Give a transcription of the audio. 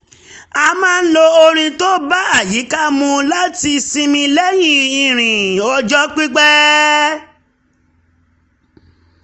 a máa ń lo orin tó bá àyíká mu láti sinmi lẹ́yìn ìrìn ọjọ́ pipẹ́